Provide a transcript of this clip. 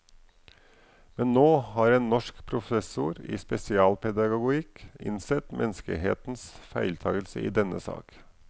Men nå har en norsk professor i spesialpedagogikk innsett menneskehetens feiltagelse i denne sak.